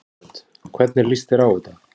Hödd: Hvernig líst þér á þetta?